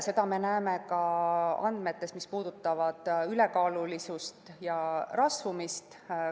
Seda me näeme ka andmetest, mis puudutavad ülekaalulisust ja rasvumist.